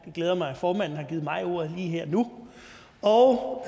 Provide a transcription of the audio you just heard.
glæder mig at formanden har givet mig ordet lige her og nu og